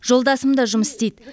жолдасым да жұмыс істейді